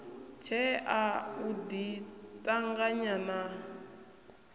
tshea u ḓi ṱanganya na